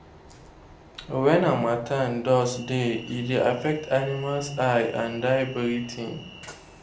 wen harmattan dust dey e dey affect animals eye and dia breathing